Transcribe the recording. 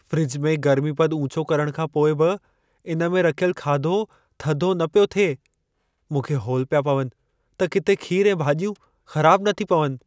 Fridge में गर्मीपद ऊचो करण खां पोइ बि इन में रखियल खाधो थधो न पियो थिए। मूंखे हौल पिया पवनि त किथे खीर ऐं भाॼियूं ख़राब न थी पवनि।